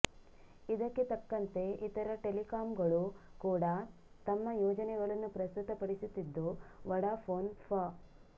ಇದಕ್ಕೆ ತಕ್ಕಂತೆ ಇತರ ಟೆಲಿಕಾಮ್ಗಳೂ ಕೂಡ ತಮ್ಮ ಯೋಜನೆಗಳನ್ನು ಪ್ರಸ್ತುತಪಡಿಸುತ್ತಿದ್ದು ವೊಡಾಫೋನ್ ಫ